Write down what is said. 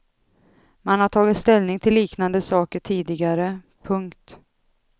Man har tagit ställning till liknande saker tidigare. punkt